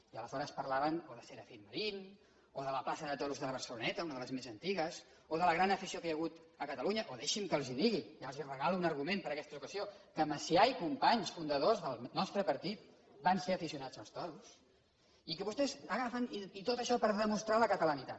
i aleshores parlaven o de serafín marín o de la plaça de toros de la barceloneta una de les més antigues o de la gran afició que hi ha hagut a catalunya o deixi’m que els ho digui ja els regalo un argument per a aquesta ocasió que macià i companys fundadors del nostre partit van ser aficionats als toros i que vostès agafen tot això per demostrar la catalanitat